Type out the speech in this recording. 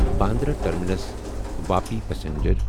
Bandra terminus Vapi passenger